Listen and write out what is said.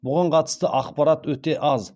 бұған қатысты ақпарат өте аз